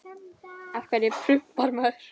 Af hverju prumpar maður?